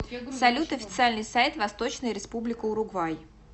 салют официальный сайт восточная республика уругвай